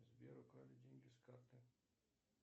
сбер украли деньги с карты